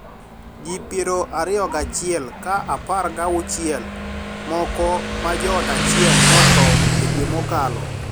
Ji pier ariyo gachiel ka apar ga auchiel moko ma joot achiel notho dwe mokalo